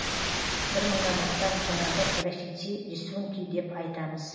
бір мыңнан астам жаңағы графити рисунки деп айтамыз